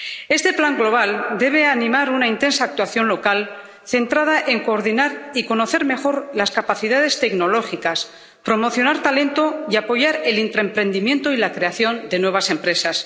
Este plan global debe animar una intensa actuación local, centrada en coordinar y conocer mejor las capacidades tecnológicas, promocionar talento y apoyar el intraemprendimiento y la creación de nuevas empresas.